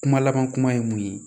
Kuma laban kuma ye mun ye